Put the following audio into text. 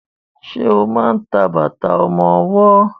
Ṣe máa ń ta bàtà ọmọwọ́?